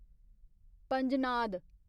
पंजनाद